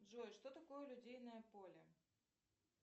джой что такое лодейное поле